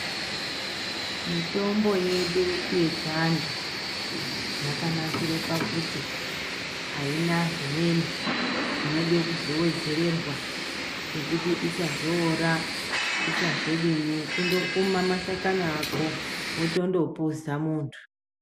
Mitombo yedu yechiantu yakanakire pakuti aina zvimweni zvinode kuwedzererwa zvekuti isazoora isazodini kundokuma mashakani ako wotondo puza muntu .